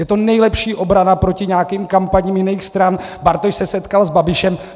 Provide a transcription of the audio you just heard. Je to nejlepší obrana proti nějakým kampaním jiných stran: Bartoš se setkal s Babišem.